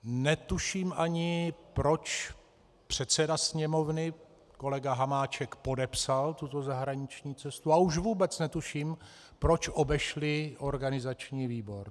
Netuším ani, proč předseda Sněmovny kolega Hamáček podepsal tuto zahraniční cestu, a už vůbec netuším, proč obešli organizační výbor.